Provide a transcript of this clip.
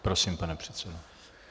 Prosím, pane předsedo.